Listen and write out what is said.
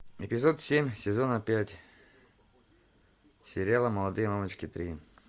эпизод семь сезона пять сериала молодые мамочки три